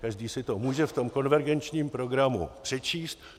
Každý si to může v tom konvergenčním programu přečíst.